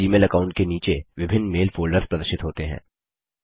इस Gmail account के नीचे विभिन्न मेल फोल्डर्स प्रदर्शित होते हैं